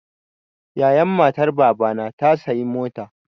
Yayan matar Baba na ta sayi mota.